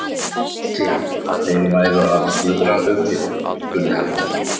Vissi hann, að þeir væru að snuðra um mig? spurði hann.